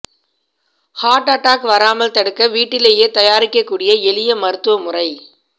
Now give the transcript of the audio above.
hurt attack வராமல் தடுக்க வீட்டிலேயே தயாரிக்கக் கூடிய எளிய மருத்துவமுறை